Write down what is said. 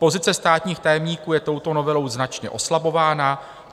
Pozice státních tajemníků je touto novelou značně oslabována.